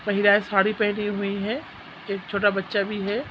महिलाएँ साड़ी पहनी हुई है एक छोटा बच्चा भी है।